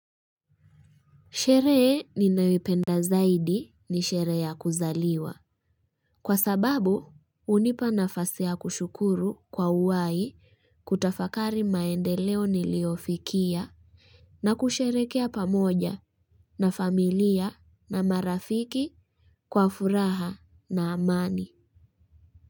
Sherehe ninayoipenda zaidi ni sherehe ya kuzaliwa. Kwa sababu, hunipa nafasi ya kushukuru kwa uhai kutafakari maendeleo niliyofikia na kusherekea pamoja na familia na marafiki kwa furaha na amani.